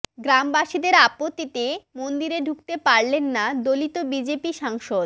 গ্রামবাসীদের আপত্তিতে মন্দিরে ঢুকতে পারলেন না দলিত বিজেপি সাংসদ